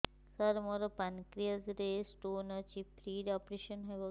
ସାର ମୋର ପାନକ୍ରିଆସ ରେ ସ୍ଟୋନ ଅଛି ଫ୍ରି ରେ ଅପେରସନ ହେବ କି